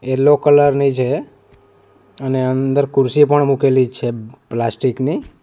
Yellow colour ની છે અને અંદર ખુરશી પણ મૂકેલી છે પ્લાસ્ટિક ની.